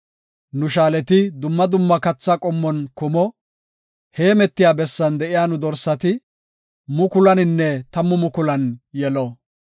Nu shaaleti dumma dumma katha qommon kumo; heemetiya bessan de7iya nu dorsati mukulaninne tammu mukulan yelo.